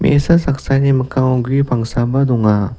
me·asa saksani mikkango gue pangsaba donga.